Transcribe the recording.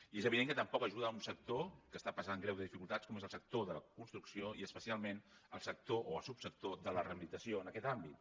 i és evident que tampoc ajuda un sector que està passant greus dificultats com és el sector de la construcció i especialment el sector o el subsector de la rehabilitació en aquest àmbit